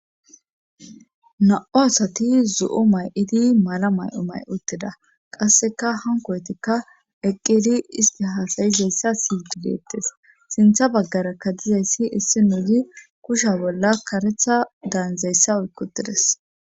Na7o asati zu7o may7idi mala may7o may uttida qasseka hankoytikka eqqedi isti haasayizayssa sigidettis sintha baggarakka dizayssi issi nuuyi kusha bolla karetha daanzayssa oykkutides.